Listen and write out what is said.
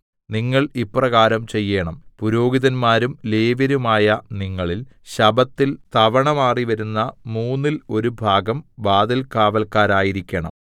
നിങ്ങൾ ഇപ്രകാരം ചെയ്യേണം പുരോഹിതന്മാരും ലേവ്യരുമായ നിങ്ങളിൽ ശബ്ബത്തിൽ തവണമാറി വരുന്ന മൂന്നിൽ ഒരു ഭാഗം വാതിൽകാവല്ക്കാരായിരിക്കേണം